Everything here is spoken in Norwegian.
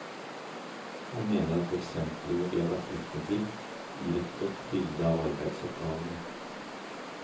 Han mener at eksemplene vi har vært vitne til, gir et godt bilde av arbeidsoppgavene.